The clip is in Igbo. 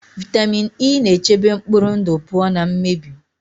Vitamin E na-echebe mkpụrụ ndụ pụọ na mmebi.